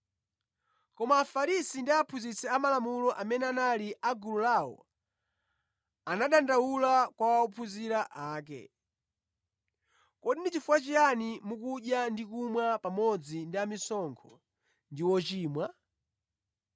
Koma Afarisi ndi aphunzitsi amalamulo amene anali a gulu lawo anadandaula kwa ophunzira ake, “Kodi ndi chifukwa chiyani mukudya ndi kumwa pamodzi ndi amisonkho ndi ochimwa?”